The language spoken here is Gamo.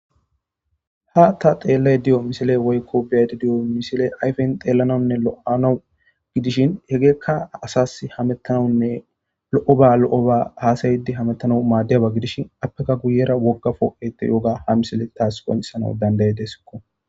ha ta xeellay diyo misile woykko beadi diyo misile ayfen xeellanaunne lo7anau gidishin hegeekka asas hamettanawunne lo7o ba lo7o ba haasayidi hamettanau maaddiyaba gidishi appeka guyera woggafo7ette yoga ha misile taas qonesana dandaye desikko